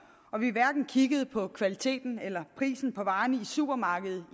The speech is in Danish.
hverken kigger på kvaliteten eller prisen på varerne i supermarkedet